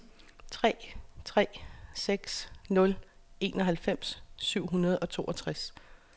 tre tre seks nul enoghalvfems syv hundrede og toogtres